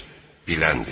Biləndir.